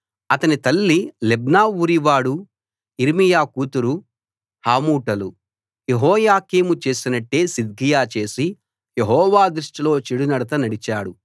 అతని తల్లి లిబ్నా ఊరివాడు యిర్మీయా కూతురు హమూటలు యెహోయాకీము చేసినట్టే సిద్కియా చేసి యెహోవా దృష్టిలో చెడునడత నడిచాడు